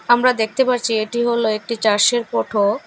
আমরা দেখতে পারছি এটি হল একটি চার্সের ফোটো ।